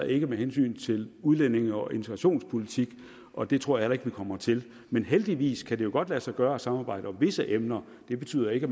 ikke med hensyn til udlændinge og integrationspolitik og det tror jeg heller ikke vi kommer til men heldigvis kan det jo godt lade sig gøre at samarbejde om visse emner det betyder ikke